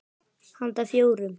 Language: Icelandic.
Handa fjórum